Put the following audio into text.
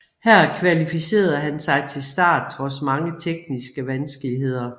Her kvalificerede han sig til start trods mange tekniske vanskeligheder